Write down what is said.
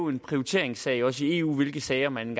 en prioriteringssag også i eu hvilke sager man